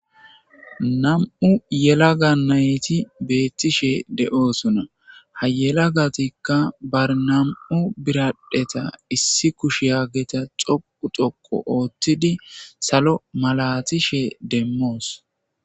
Nam7u yela ga nayti beettishe de7oosunna hayela gatikka barnam7u biradheta issi kush yaageta xoqu xoqo ooththidi salo malatishe demmoos.